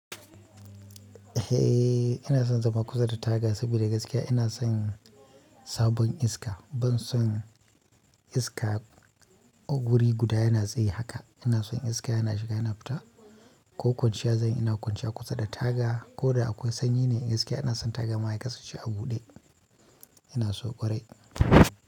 Eh, ina son zama kusa da taga saboda gaskiya ina son sabon iska. Ban son iska a guri guda yana tsaye haka. Ina son iska yana shiga yana fita. Ko kwanciya zanyi ina kwanciya kusa da taga ko da akwai sanyi ne gaskiya ina son taga ma ya kasance a buɗe. Ina so ƙwarai.